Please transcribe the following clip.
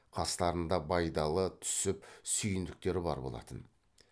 қастарында байдалы түсіп сүйіндіктер бар болатын